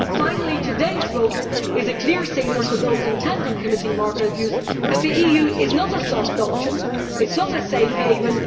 Finally, today's vote sends a clear signal to those intent on committing market abuse that the EU is not a soft option or a safe haven.